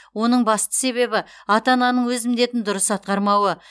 оның басты себебі ата ананың өз міндетін дұрыс атқармауы